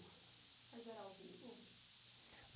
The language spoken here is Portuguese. Mas era ao vivo?